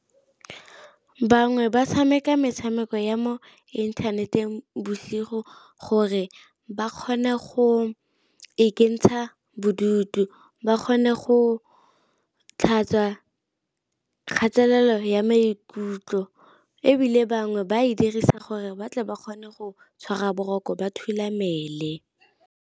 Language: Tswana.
Bangwe ba tshameka metshameko ya mo inthaneteng bosigo gore ba kgone go ikentsha bodutu, ba kgone go o tlhatswa kgatelelo ya maikutlo, ebile bangwe ba e dirisa gore batle ba kgone go tshwara boroko ba thulamele.